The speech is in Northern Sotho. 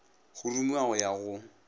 go rumiwa go ya go